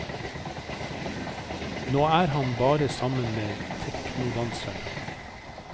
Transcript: Nå er han bare sammen med teknodanserne.